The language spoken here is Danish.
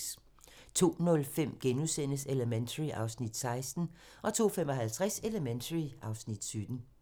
02:05: Elementary (Afs. 16)* 02:55: Elementary (Afs. 17)